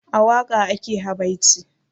A waƙa ake habaici